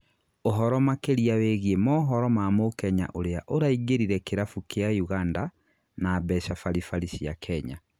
uhoro makĩria wĩgĩe mohoro ma Mũkenya uria uraingĩrire kĩrabu kia Uganda, na mbeca baribari cia Kenya.